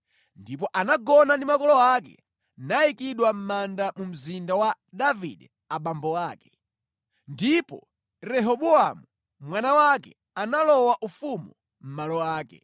Ndipo anagona ndi makolo ake nayikidwa mʼmanda mu mzinda wa Davide abambo ake. Ndipo Rehobowamu mwana wake analowa ufumu mʼmalo ake.